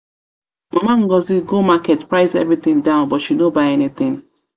mama ngozi go market price every thing down but she no buy anything.